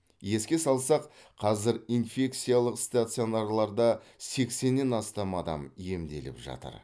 еске салсақ қазір инфекциялық стационарларда сексеннен астам адам емделіп жатыр